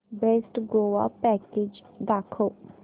best Goa package दाखव